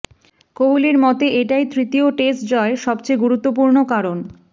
কোহলির মতে এটাই তৃতীয় টেস্ট জয়ের সবচেয়ে গুরুত্বপূর্ণ কারণ